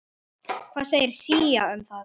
Hvað segir SÍA um það?